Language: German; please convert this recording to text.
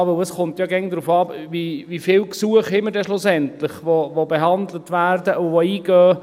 Denn es kommt ja immer darauf an, wie viele Gesuche wir am Ende haben, die behandelt werden und die eingehen.